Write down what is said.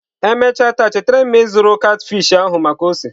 Emechara taa chetara m ịzụrụ catfish ahụ maka ose.